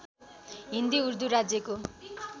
हिन्दी उर्दू राज्यको